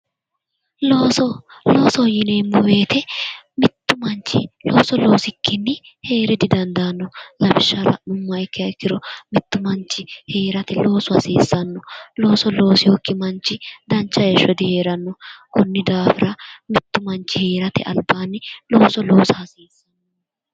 Looso. Loosoho yineemmo woyite mittu manchi looso loosikki heere didandaanno. Lawishshaho la'nummoha ikkiha ikkiro mittu manchi heerate loosu hasiisanno. Looso loosinokki manchi dancha heeshsho diheeranno. Konni daafira mittu manchi heerate albaanni looso loosa.